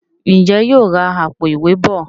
Njé yóò rá Àpò-ìwé bọ?